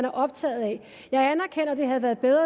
optaget af jeg anerkender at det havde været bedre